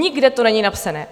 Nikde to není napsané.